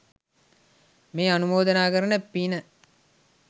මේ අනුමෝදනා කරන පින